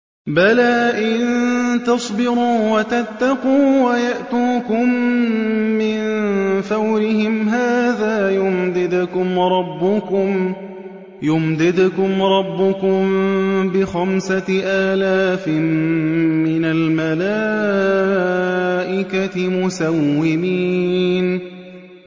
بَلَىٰ ۚ إِن تَصْبِرُوا وَتَتَّقُوا وَيَأْتُوكُم مِّن فَوْرِهِمْ هَٰذَا يُمْدِدْكُمْ رَبُّكُم بِخَمْسَةِ آلَافٍ مِّنَ الْمَلَائِكَةِ مُسَوِّمِينَ